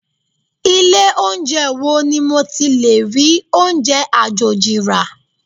Ilé oúnjẹ wo ni mo ti lè rí oúnjẹ àjòjì rà?